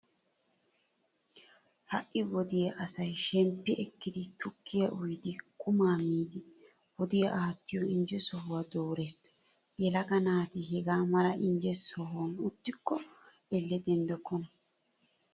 Ha"i wode asay shemppi ekkiiddi tukkiya uyiiddi qumaa miiddi wodiya aattiyo injje sohuwaa doorees. Yelaga naati hega mala injje sohan uttikko elle denddokkona.